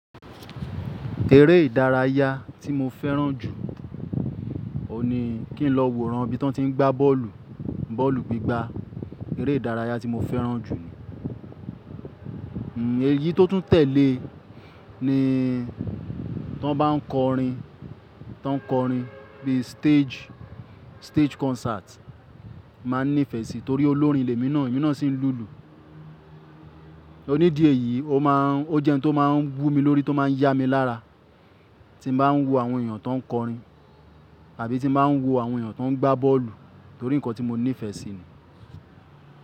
Eré ìdárayá tí mo fẹ́ràn jù ni kí n lọ wo ran bí wọ́n ti ń gbá bọ́ọ̀lù, bọ́ọ̀lù gbígbá. Eré ìdárayá tí mo fẹ́ràn jù ni. Eyí tó tún tẹ̀lé ni tí wọ́n bá ń kọrin, tí wọ́n ń kọrin bí stage, stage concert, mà á n nífẹ̀ẹ́ sí torí olórin l'emi na, emi naa sì ń lùlù. Ni'di eyi ó ma ń, ó jẹ́ ohun tó má ń wú mi lórí, tó má ń yá mi lára tí n bà á ń wo àwọn èèyàn tó ń kọrin àbí ti n bà á ń wo àwọn èèyàn tó ń gbá bọ́ọ̀lù torí nǹkan tí mo nífẹ̀ẹ́ sí ni.